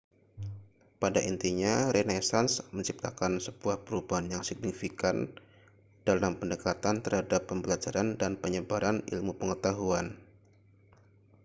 pada intinya renaisans menciptakan sebuah perubahan yang signifikan dalam pendekatan terhadap pembelajaran dan penyebaran ilmu pengetahuan